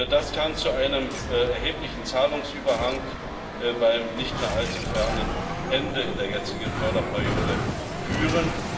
Das kann zu einem erheblichen Zahlungsüberhang beim nicht mehr allzu fernen Ende in der jetzigen Förderperiode führen.